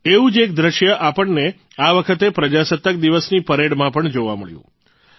એવું જ એક દ્રશ્ય આપણને આ વખતે પ્રજાસત્તાક દિવસની પરેડમાં પણ જોવા મળ્યું